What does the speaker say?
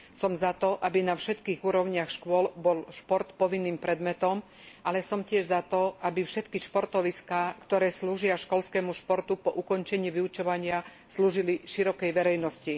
Som za to, aby bol šport na všetkých úrovniach škôl povinným predmetom, ale som tiež za to, aby všetky športoviská, ktoré slúžia školskému športu po ukončení vyučovania, slúžili širokej verejnosti.